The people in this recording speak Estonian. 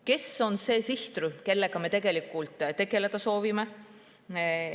Kes on see sihtrühm, kellega me tegelikult tegeleda soovime?